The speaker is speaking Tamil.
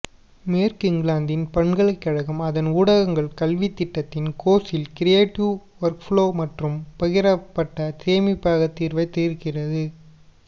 மேற்கு இங்கிலாந்தின் பல்கலைக்கழகம் அதன் ஊடகங்கள் கல்வித் திட்டத்தின் கோர்சில் கிரியேட்டிவ் வொர்க்ஃப்ளோ மற்றும் பகிரப்பட்ட சேமிப்பக தீர்வை திருத்துகிறது